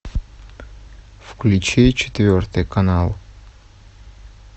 включи четвертый канал